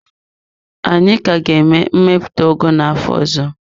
Anyị ka ga-eme mmepụta ugu n'afọ ọzọ.